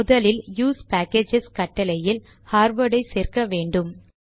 முதலில் use packages கட்டளையில் Harvard ஐ சேர்க்க வேண்டும்